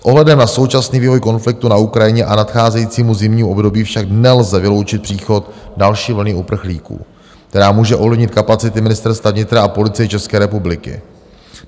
S ohledem na současný vývoj konfliktu na Ukrajině a nadcházejícímu zimnímu období však nelze vyloučit příchod další vlny uprchlíků, která může ovlivnit kapacity Ministerstva vnitra a Policie České republiky.